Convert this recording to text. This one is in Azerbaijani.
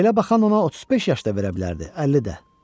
Belə baxan ona 35 yaşda verə bilərdi, 50 də.